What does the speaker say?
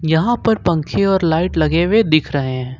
यहां पर पंखे और लाइट लगे हुए दिख रहे हैं।